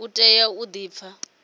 u tea u di pfa